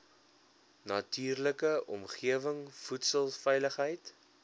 natuurlike omgewing voedselveiligheid